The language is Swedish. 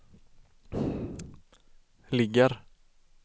ligger